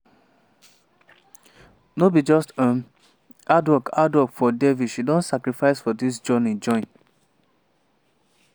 no be just um hard work hard work for devi she don sacrifice for dis journey join.